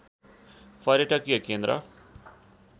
पर्यटकीय केन्द्र